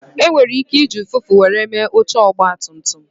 E nwere ike iji ụfụfụ were mee oche Ọgba tum tum